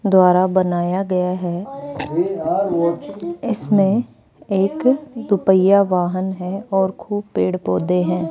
द्वारा बनाया गया है इसमें एक दो पहिया वाहन है और खूब पेड़ पौधे हैं।